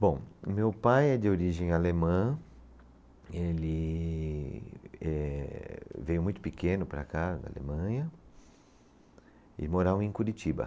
Bom, meu pai é de origem alemã, ele eh, veio muito pequeno para cá, da Alemanha, e morava em Curitiba.